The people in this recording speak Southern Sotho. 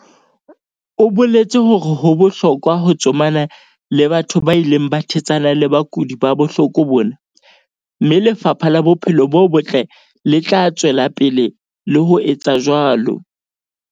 o boletse hore ho bohlokwa ho tsomana le batho ba ileng ba thetsana le bakudi ba bohloko bona, mme Lefapha la Bophelo bo Botle le tla tswela pele le ho etsa jwalo.